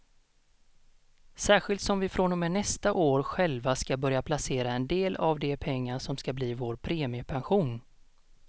Särskilt som vi från och med nästa år själva ska börja placera en del av de pengar som ska bli vår premiepension.